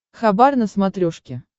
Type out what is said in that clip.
хабар на смотрешке